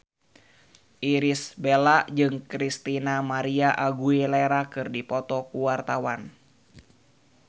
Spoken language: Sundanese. Irish Bella jeung Christina María Aguilera keur dipoto ku wartawan